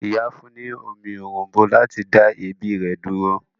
Ìyá fún ní omi òrom̀bó láti dá èébì rẹ̀ dúró.